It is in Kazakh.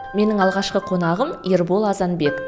менің алғашқы қонағым ербол азанбек